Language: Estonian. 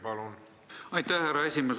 Aitäh, härra esimees!